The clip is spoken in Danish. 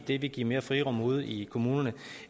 ville give mere frirum ude i kommunerne